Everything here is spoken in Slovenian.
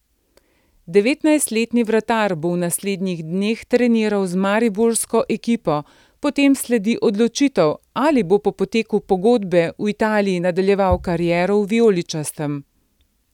Devetnajstletni vratar bo v naslednjih dneh treniral z mariborsko ekipo, potem sledi odločitev, ali bo po izteku pogodbe v Italiji nadaljeval kariero v vijoličastem.